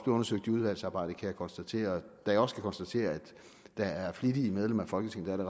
undersøgt i udvalgsarbejdet kan jeg konstatere da jeg også kan konstatere at der er flittige medlemmer af folketinget der